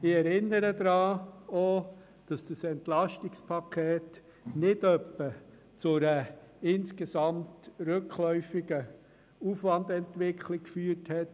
Ich erinnere auch daran, dass das EP nicht etwa zu einer insgesamt rückläufigen Aufwandentwicklung geführt hat.